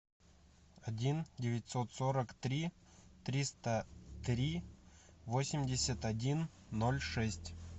один девятьсот сорок три триста три восемьдесят один ноль шесть